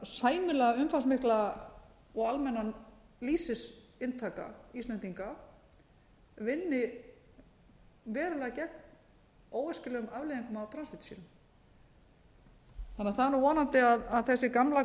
sæmilega umfangsmikla og almenna lýsisinntaka íslendinga vinni verulega gegn óæskilegum afleiðingum af transfitusýrum þannig að það er vonandi að þessi gamla og